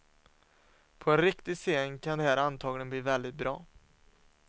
På en riktig scen kan det här antagligen bli väldigt bra.